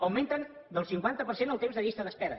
augmenten el cinquanta per cent el temps de llista d’espera